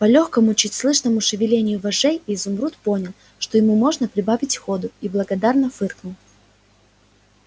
по лёгкому чуть слышному шевелению вожжей изумруд понял что ему можно прибавить ходу и благодарно фыркнул